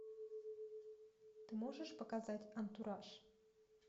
ты можешь показать антураж